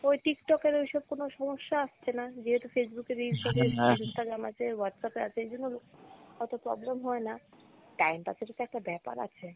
ওই Tiktok এর ওইসব কোনো সমস্যা আসছে না যেহেতু Facebook এর reel আছে, Instagram আছে, Whatsapp এ আছে, এজন্য অতো problem হয়না, time pass এর ও তো একটা ব্যাপার আছে।